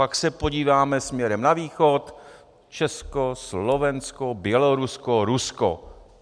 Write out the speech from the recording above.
Pak se podíváme směrem na východ, Česko, Slovensko, Bělorusko, Rusko.